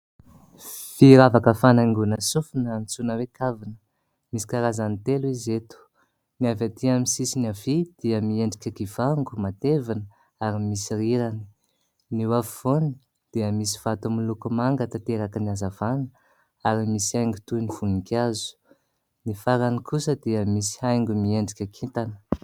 Firavaka fanaingona sofina antsoina hoe kavina. Misy karazany telo izy eto : ny avy atỳ amin'ny sisiny havia dia miendrika kivango matevina ary misy rirany, ny eo afovoany dia misy vato miloko manga tanteraky ny hazavana ary misy haingo toy ny voninkazo, ny farany kosa dia misy haingo miendrika kintana.